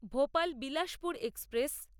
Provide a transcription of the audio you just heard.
Bhopal Bilaspur express